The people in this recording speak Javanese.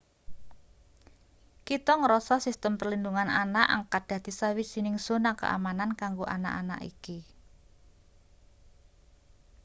kita ngrasa sistem perlindungan anak angkat dadi sawijining zona keamanan kanggo anak anak iki